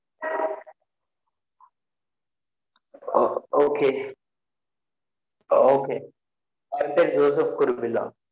Okay o okay என் பேர் Joseph Kuruvilla